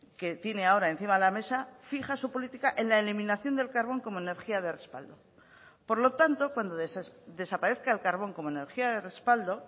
que tiene ahora encima de la mesa fija su política en la eliminación del carbón como energía de respaldo por lo tanto cuando desaparezca el carbón como energía de respaldo